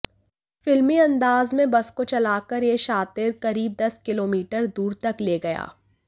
फिल्मी अंदाज में बस को चलाकर यह शातिर करीब दस किलोमीटर दूर तक ले गया